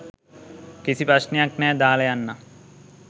කිසි ප්‍රශ්නයක් නැහැ දාලා යන්නම්.